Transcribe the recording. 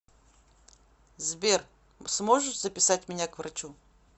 сбер сможешь записать меня к врачу